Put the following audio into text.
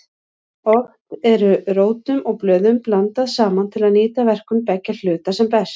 Oft eru rótum og blöðum blandað saman til að nýta verkun beggja hluta sem best.